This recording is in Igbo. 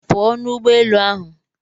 Pụọ n'ụgbọ elu ahụ!